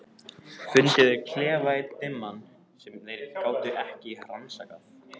Þá fundu þeir klefa einn dimman, sem þeir gátu ekki rannsakað.